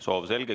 Soov selge.